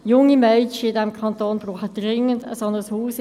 Junge Mädchen in diesem Kanton brauchen dringend ein solches Haus.